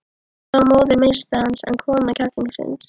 Þetta var móðir meistarans, en kona klerksins.